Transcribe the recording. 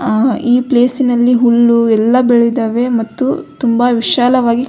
ಆ ಈ ಪ್ಲೇಸಿನಲ್ಲಿ ಹುಲ್ಲು ಎಲ್ಲ ಬೆಳಿದಾವೆ ಮತ್ತು ತುಂಬ ವಿಶಾಲವಾಗಿ.